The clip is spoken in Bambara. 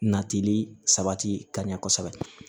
Natili sabati ka ɲɛ kosɛbɛ